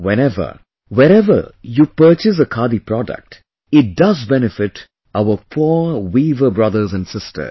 Whenever, wherever you purchase a Khadi product, it does benefit our poor weaver brothers and sisters